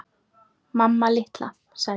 Mamma litla, sagði ég.